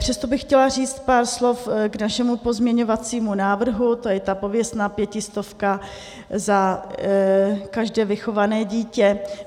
Přesto bych chtěla říct pár slov k našemu pozměňovacímu návrhu, to je ta pověstná pětistovka za každé vychované dítě.